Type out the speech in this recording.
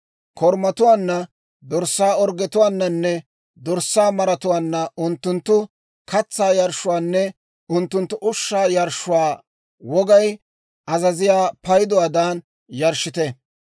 Korumatuwaanna, dorssaa orggetuwaananne dorssaa maratuwaanna unttunttu katsaa yarshshuwaanne unttunttu ushshaa yarshshuwaa wogay azaziyaa payduwaadan yarshshite.